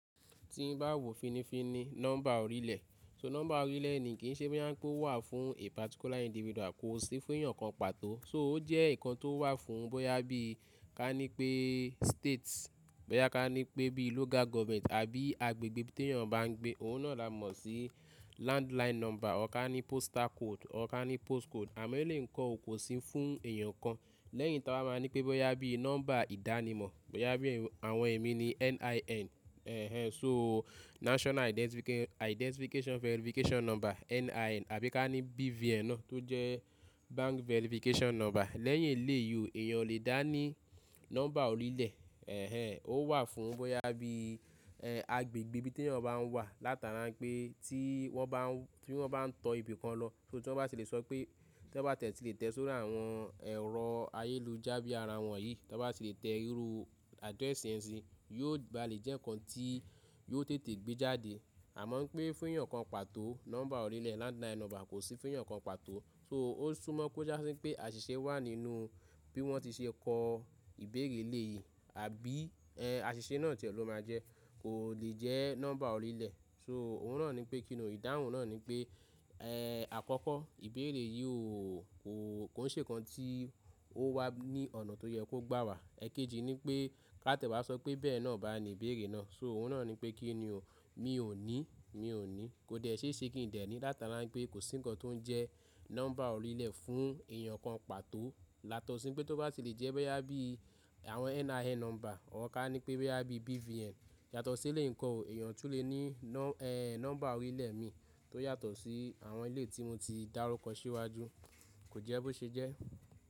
Tí bá wò fínífíní nọ́mbà orílẹ̀, so nọ́mbà orílẹ̀ ni kì í ṣe bóyá pé ó wà fún particular individual kò sì fún èèyàn kan pàtó. So ó jẹ́ ǹkan tó wà fún bóyá bí ka ní pé states, bóyá ka ní pé bí i local government àbí agbègbè tí èèyàn bá ń gbé. Òun náà la mọ̀ sí landline number, ọ̀ kan ní postal code, ka ní postcode àmọ́ lè kọ̀ ó kò sì fún èèyàn kan. Lẹ́yìn tí a bá máa ní pé bóyá bí i nọ́mbà ìdánimọ̀, bóyá bí i àwọn ẹ̀mí ni NIN, ẹnh ẹnh so National Identification Verification Number, NIN àbí ka ní BVN náà tó jẹ́ Bank Verification Number. Lẹ́yìn eléyìí èèyàn lè dá ní nọ́mbà orílẹ̀, ó wà fún bóyá bí i ẹ agbègbè ibi tí èèyàn bá ń wà. Látara pé tí wọ́n bá ń, tí wọ́n bá ń tọ ibi kan lọ, ṣó tí wọ́n bá sì lè sọ pé tí wọ́n bá tie ti lè tẹ́ sórí àwọn ẹ̀rọ ayélujára bí i ara wọn yìí, tí wọ́n bá sì lè tẹ irú address yẹn síi, yóò ba lè jẹ́ ǹkan tí yóò tètè gbé jáde. Àmọ́ pé fún èèyàn kan pàtó nọ́mbà orílẹ̀ landline number kò sì fún èèyàn kan pàtó. So ó sún mọ́ kó já sí pé àṣìṣe wà nínú bí wọ́n ti ṣe kọ ìbéèrè lè yìí. Àbí ẹ àṣìṣe náà tì ọ ló máa jẹ́, kò lè jẹ́ nọ́mbà orílẹ̀. So òun náà ni pé kí ni ò, ìdáhùn náà ni pé ẹ àkọ́kọ́ ìbéèrè yìí ò ò kò ń ṣe ǹkan tí ó wà ní ọ̀nà tó yẹ kó gbà wà. Ẹ̀keji ní pé ká tẹ̀ wá sọ pé bẹ́ẹ̀ náà bá ni ìbéèrè náà. So òun náà ni pé kí ni ò mi ò ní, mi ò ní, kò dẹ̀ sé ṣe kí n dẹ̀ ní. Látara pé kò sí ǹkan tó ń jẹ nọ́mbà orílẹ̀ fún èèyàn kan pàtó. Yátọ̀sí pé tó bá tì lè jẹ́ bóyá bí i àwọn NIN number, ọ̀ ka á ní pé bóyá bí i BVN. Yàtọ̀ sí elẹ̀yi ǹko ò èèyàn tún lè ní nọ ẹ nọ́mbà orílẹ̀ mi tó yàtọ̀ sí àwọn ilẹ̀ tí mo ti dárúkọ síwájú, kò jẹ́ bó ṣe jẹ́.